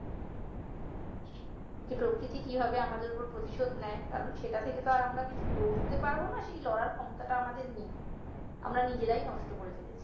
যে প্রকৃতি কিভাবে আমাদের ওপর প্রতিশোধ নেই কারণ সেটা থেকে তো আর আমরা কিছু লড়তে পারবো না সেই লড়ার ক্ষমতাটা আমাদের নেই আমরা নিজেরাই নষ্ট করে ফেলেছি